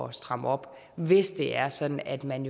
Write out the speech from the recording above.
at stramme op hvis det er sådan at man